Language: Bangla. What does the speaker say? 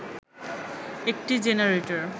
একটি জেনারেটর